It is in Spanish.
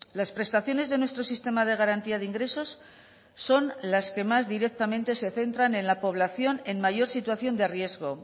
las prestaciones de nuestro sistema de garantía de ingresos son las que más directamente se centran en la población en mayor situación de riesgo